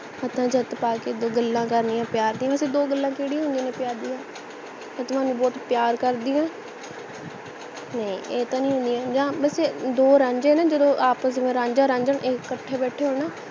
ਹੱਥਾਂ ਚ ਹੱਥ ਪਾ ਕੇ ਦੋ ਗੱਲਾਂ ਕਰਨੀਆਂ ਨੇ ਪਿਆਰ ਦੀਆਂ ਵੈਸੇ ਦੋ ਗੱਲਾਂ ਕੇੜਿਆਂ ਹੁੰਦੀਆਂ ਨੇ ਪਿਆਰ ਦੀਆਂ ਮੈਂ ਤੁਹਾਨੂੰ ਬਹੁਤ ਪਿਆਰ ਕਰਦੀ ਹੈ ਨਹੀਂ ਇਹ ਤਾਂ ਨਹੀਂ ਹੁੰਦੀਆਂ ਯਾ ਬਸ ਦੋ ਰਾਂਝੇ ਨਾ ਜਦੋ ਆਪਸ ਦੇ ਵਿੱਚ ਰਾਂਝਾ ਰਾਂਝਾ ਕਥੇ ਬੈਠੇ ਹੋਣ ਨਾ